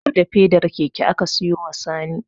Har da fedar keke aka siyo wa Sani